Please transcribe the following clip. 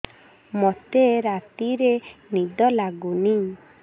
ମୋତେ ରାତିରେ ନିଦ ଲାଗୁନି